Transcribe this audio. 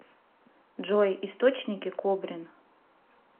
джой источники кобрин